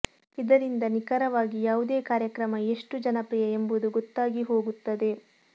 ಇದರಿಂದ ನಿಖರವಾಗಿ ಯಾವುದೇ ಕಾರ್ಯಕ್ರಮ ಎಷ್ಟು ಜನಪ್ರಿಯ ಎಂಬುದು ಗೊತ್ತಾಗಿ ಹೋಗುತ್ತದೆ